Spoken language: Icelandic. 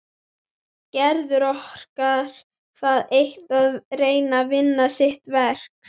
Gerður orkar það eitt að reyna að vinna sitt verk.